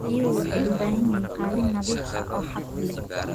Riyuhu waxay u baahan yihiin qalin nadiif ah oo hadh leh.